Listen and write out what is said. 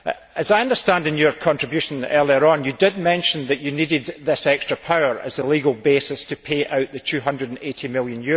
As I understand from your contribution early on, you did mention that you needed this extra power as a legal basis to pay out the EUR 280 million.